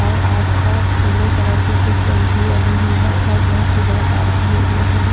और आसपास पीले कलर के कुछ टंकी बनी हुई है और बहुत ही बड़ा पार्किंग एरिया है ये--